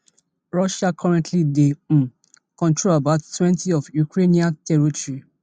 russia currently dey um control about twenty of ukrainian territory